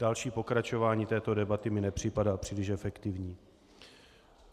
Další pokračování této debaty mi nepřipadá příliš efektivní.